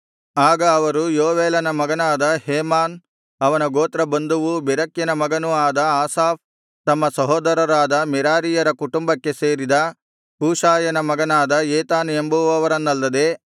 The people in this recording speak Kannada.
ಆಗ ಅವರು ಯೋವೇಲನ ಮಗನಾದ ಹೇಮಾನ್ ಅವನ ಗೋತ್ರಬಂಧುವೂ ಬೆರೆಕ್ಯನ ಮಗನೂ ಆದ ಆಸಾಫ್ ತಮ್ಮ ಸಹೋದರರಾದ ಮೆರಾರೀಯರ ಕುಟುಂಬಕ್ಕೆ ಸೇರಿದ ಕೂಷಾಯನ ಮಗನಾದ ಏತಾನ್ ಎಂಬುವರನ್ನಲ್ಲದೆ